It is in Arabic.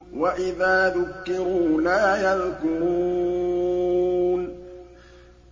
وَإِذَا ذُكِّرُوا لَا يَذْكُرُونَ